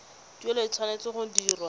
tuelo e tshwanetse go dirwa